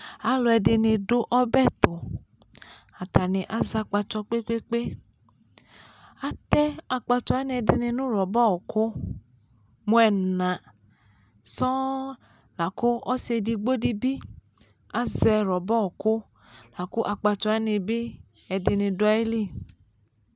Alʊ ɛdɩnɩ dʊ ɔbɛtʊ atanɩ azɛ akpatso kpekpekpe atɛ akpatsɔ ɛdɩnɩ nʊ rɔba ɔkʊ mu ena sɔɔ lakʊ ɔsɩ edigbodɩbɩ azɛ rɔba ɔkʊ lakʊ akpatsɔ wanɩbɩ ɛdɩnɩ dʊ ayɩlɩ